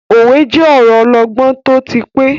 Òwe je ọ̀rọ ọlọgbọ́n tó ti pẹ́.